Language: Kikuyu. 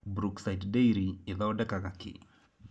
Brookside Dairy ĩthondekaga kĩĩ?